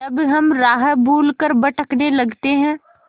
जब हम राह भूल कर भटकने लगते हैं